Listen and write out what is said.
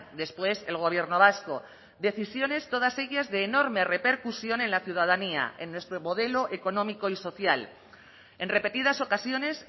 después el gobierno vasco decisiones todas ellas de enorme repercusión en la ciudadanía en nuestro modelo económico y social en repetidas ocasiones